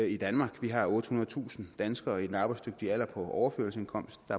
i danmark vi har ottehundredetusind danskere i den arbejdsdygtige alder på overførselsindkomst og